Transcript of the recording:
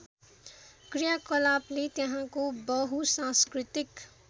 क्रियाकलापले त्यहाँको बहुसाँस्कृतिक